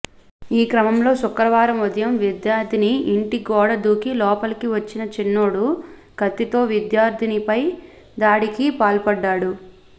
ఈ క్రమంలో శుక్రవారం ఉదయం విద్యార్థిని ఇంటి గోడ దూకి లోపలికి వచ్చిన చిన్నోడు కత్తితో విద్యార్థినిపై దాడికి పాల్పడ్డాడు